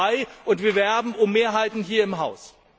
Wir sind dabei, und wir werben um Mehrheiten hier im Haus.